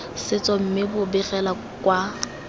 setso mme bo begela kwa